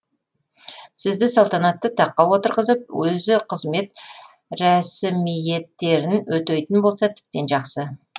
сізді салтанатты таққа отырғызып өзі қызмет рәсімиеттерін өтейтін болса тіптен жақсы